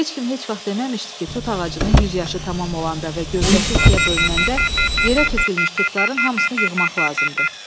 Heç kim heç vaxt deməmişdi ki, tut ağacının 100 yaşı tamam olanda və gövdəsi ikiyə bölünəndə yerə tökülmüş tutların hamısını yığmaq lazımdır.